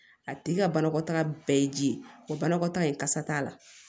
A tigi ka banakɔtaga bɛɛ ye ji ye o banakɔtaga in kasa t'a la